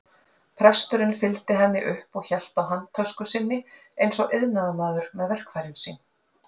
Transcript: Presturinn fylgdi henni upp og hélt á handtösku sinni eins og iðnaðarmaður með verkfærin sín.